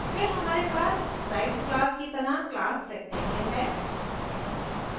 फिर हमारे पास डिराइव्ड class की तरह class rectangle है